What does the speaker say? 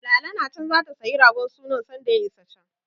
Lala na can zata sayi ragon sunan sanda ya isa can.